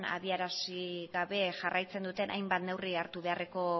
adierazi gabe jarraitzen duten hainbat neurri hartu beharrekoa